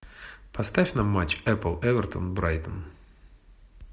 поставь нам матч эпл эвертон брайтон